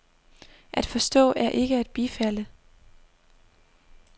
At forstå er ikke at bifalde.